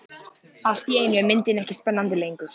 Allt í einu er myndin ekki spennandi lengur.